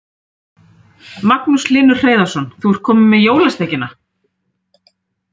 Magnús Hlynur Hreiðarsson: Þú ert komin með jólasteikina?